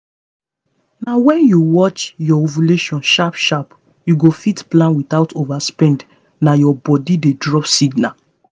na when you watch your ovulation sharp sharp you go fit plan without overspend nah your body dey drop signal